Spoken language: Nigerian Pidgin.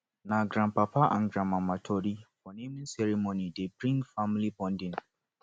na grandpapa and grandmama tori for naming ceremony dey bring family bonding